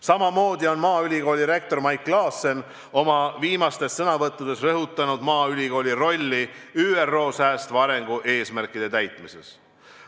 Samamoodi on Maaülikooli rektor Mait Klaassen oma viimastes sõnavõttudes rõhutanud Maaülikooli rolli ÜRO säästva arengu eesmärkide täitmises.